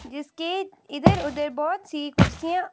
जिसके इधर उधर बहुत सी कुर्सियां--